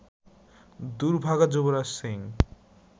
দুর্ভাগা Yuvraj Singh